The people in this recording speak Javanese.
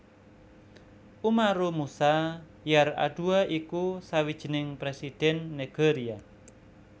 Umaru Musa Yar Adua iku sawijining Présidhèn Nigeria